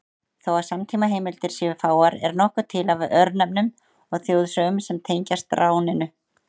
Þó að samtímaheimildir séu fáar er nokkuð til af örnefnum og þjóðsögum sem tengjast ráninu.